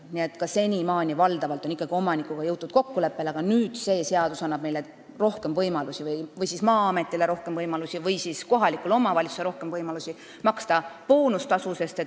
Nii et ka senimaani on valdavalt omanikuga ikkagi kokkuleppele jõutud, aga see seadus annab meile, kas Maa-ametile või kohalikule omavalitsusele rohkem võimalusi maksta boonustasu.